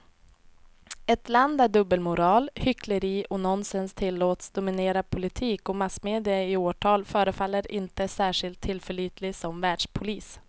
Ett land där dubbelmoral, hyckleri och nonsens tillåts dominera politik och massmedia i åratal förefaller inte särskilt tillförlitligt som världspolis.